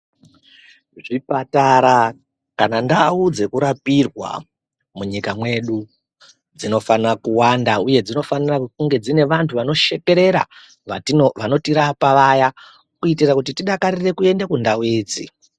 Zvipatara kana ndau dzekurapirwa munyika mwedu dzinofanire kuwanda uye dzinofanire kunge dzine vantu vanoshekerera vanotirapa vaya kuitira kuti tidakarire kuende kundau idzi.